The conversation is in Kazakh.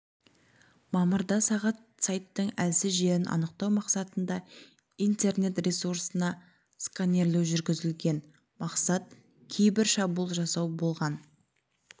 мамырда сағат сайттың әлсіз жерін анықтау мақсатында интернет ресурсына сканерлеу жүргізілген мақсат кибер шабуыл жасау болған